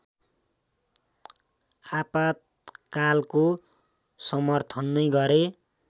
आपातकालको समर्थन नै गरे